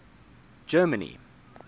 germany